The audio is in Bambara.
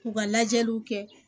U ka lajɛliw kɛ